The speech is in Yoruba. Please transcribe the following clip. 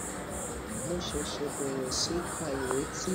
mo ṣèṣè bèrè sí í ka ìwé tí